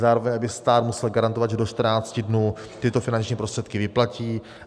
Zároveň, aby stát musel garantovat, že do 14 dnů tyto finanční prostředky vyplatí.